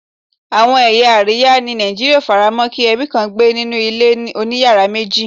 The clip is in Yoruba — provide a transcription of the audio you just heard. Àwọn ẹ̀yà àríwá ni Nigeria ó faramo kí ebi kàn gbé nínú ilé oniyara meji